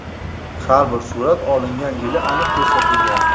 Har bir surat olingan yili aniq ko‘rsatilgan.